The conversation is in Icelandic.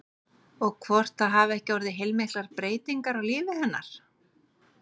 Og hvort það hafi ekki orðið heilmiklar breytingar á lífi hennar?